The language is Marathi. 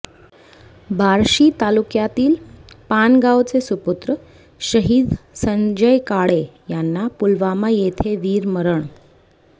बार्शी तालुक्यातील पानगावचे सुपुत्र शहीद संजय काळे यांना पुलवामा येथे वीरमरण